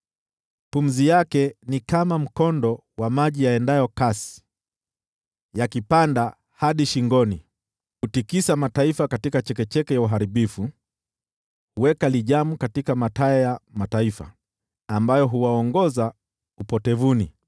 Pumzi yake ni kama mkondo wa maji yaendayo kasi, yakipanda hadi shingoni. Hutikisa mataifa katika chekecheke ya uharibifu, huweka lijamu katika mataya ya mataifa ambayo huwaongoza upotevuni.